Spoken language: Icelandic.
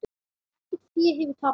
Ekkert fé hefur tapast.